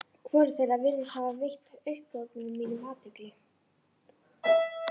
Hvorugt þeirra virðist hafa veitt upphrópunum mínum athygli.